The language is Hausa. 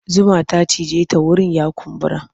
Zuma ta cije ta wurin ya kumbura.